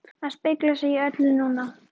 AÐ SPEGLA SIG Í ÖLLU NÚNA!